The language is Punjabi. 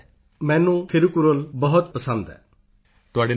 ਪੋਨ ਮਰਿਯੱਪਨ ਪੋਨ ਮਰੀਅੱਪਨ ਮੈਨੂੰ ਥਿਰੁਕੁਰਲ ਬਹੁਤ ਪ੍ਰਿਯ ਹੈ